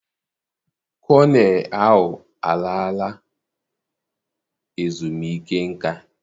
Kọnel ahụ alala ezumike nká.